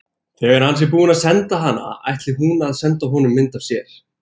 Þegar hann sé búinn að senda hana ætli hún að senda honum mynd af sér.